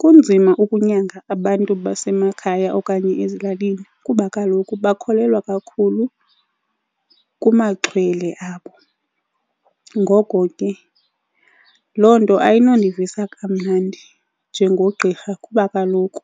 Kunzima ukunyanga abantu basemakhaya okanye ezilalini kuba kaloku bakholelwa kakhulu kumaxhwele abo. Ngoko ke loo nto ayinondivisa kamnandi njengogqirha kuba kaloku